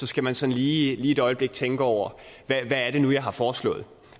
skal man sådan lige et øjeblik tænke over hvad er det nu jeg har foreslået